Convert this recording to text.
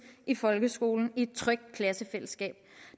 i folkeskolen i et trygt klassefællesskab